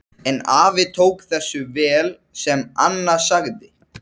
Hefur að nágrönnum bændabýli og akra.